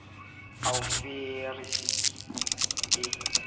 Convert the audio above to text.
a o fe resiti e